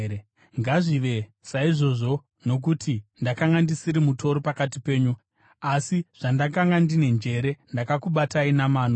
Ngazvive saizvozvo, nokuti ndakanga ndisiri mutoro pakati penyu. Asi zvandakanga ndine njere, ndakakubatai namano!